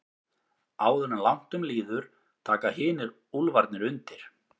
Áður en langt um líður taka hinir úlfarnir undir.